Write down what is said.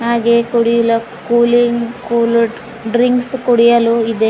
ಹಾಗೆ ಕುಡಿಯಲ cooling cool drinks ಕುಡಿಯಲು ಇದೆ.